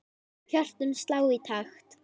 Hjörtun slá í takt.